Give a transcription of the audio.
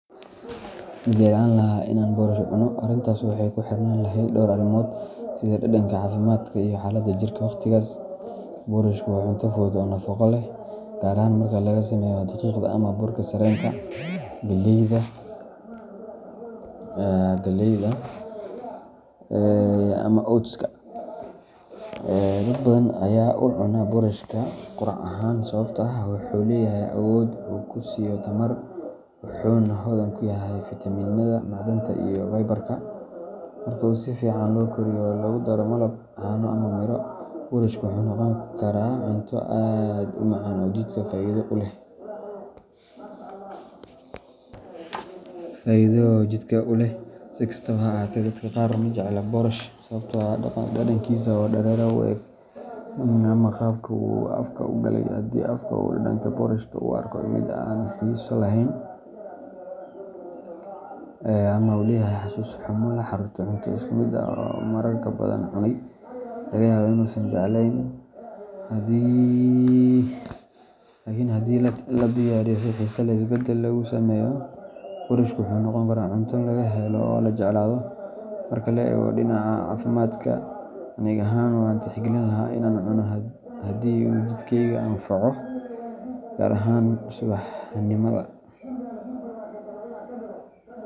Ma jeclaan lahaa in aan boorash cuno? Arrintaas waxay ku xirnaan lahayd dhowr arrimood sida dhadhanka, caafimaadka, iyo xaaladda jirka waqtigaas. Boorashku waa cunto fudud oo nafaqo leh, gaar ahaan marka laga sameeyo daqiiqda ama burka sarreenka, galleyda, ama oats-ka. Dad badan ayaa u cunaa boorashka quraac ahaan sababtoo ah wuxuu leeyahay awood uu ku siiyo tamar, wuxuuna hodan ku yahay fiitamiinada, macdanta, iyo fiber-ka. Marka uu si fiican loo kariyo oo lagu daro malab, caano, ama miro, boorashku wuxuu noqon karaa cunto aad u macaan oo jidhka faa’iido u leh. Si kastaba ha ahaatee, dadka qaar ma jecla boorash sababtoo ah dhadhankiisa oo dareere u eg ama qaabka uu afka u galay. Haddii qofka uu dhadhanka boorashka u arko mid aan xiiso lahayn ama uu leeyahay xasuus xumo la xiriirta cunto isku mid ah oo uu marar badan cunay, laga yaabee inuusan jeclayn. Laakiin haddii la diyaariyo si xiiso leh oo isbeddel lagu sameeyo, boorashku wuxuu noqon karaa cunto laga helo oo la jeclaado. Marka la eego dhinaca caafimaadka, aniga ahaan waan tixgelin lahaa in aan cuno haddii uu jidhkayga anfaco, gaar ahaan subaxnimada .